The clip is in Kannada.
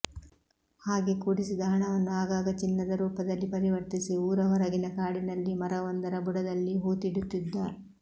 ಹಾಗೆ ಕೂಡಿಸಿದ ಹಣವನ್ನು ಆಗಾಗ ಚಿನ್ನದರೂಪದಲ್ಲಿ ಪರಿವರ್ತಿಸಿ ಊರ ಹೊರಗಿನ ಕಾಡಿನಲ್ಲಿ ಮರವೊಂದರ ಬುಡದಲ್ಲಿ ಹೂತಿಡುತ್ತಿದ್ದ